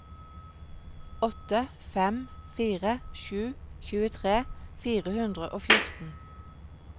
åtte fem fire sju tjuetre fire hundre og fjorten